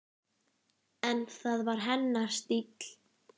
En það var hennar stíll.